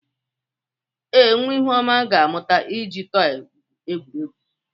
Ee, nwa Ihuoma ga-amụta iji tọị egwuri egwu.